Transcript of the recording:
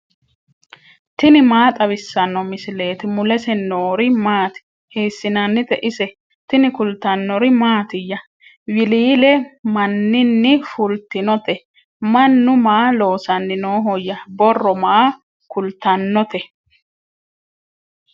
tini maa xawissanno misileeti ? mulese noori maati ? hiissinannite ise ? tini kultannori mattiya? Wiliille maninni fulittinnotte? Mannu maa loosanni noohoya? Borro maa kulitannotte?